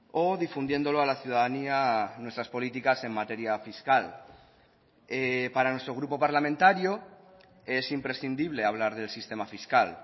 o difundiéndolo a la ciudadanía nuestras políticas en materia fiscal para nuestro grupo parlamentario es imprescindible hablar del sistema fiscal